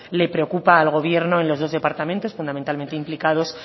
le preocupa al gobierno en los dos departamentos fundamentalmente implicados